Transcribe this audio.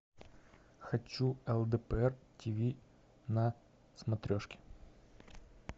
хочу лдпр тв на смотрешке